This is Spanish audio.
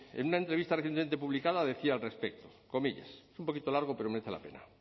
isei ivei en una entrevista recientemente publicada decía al respecto es un poco largo pero merece la pena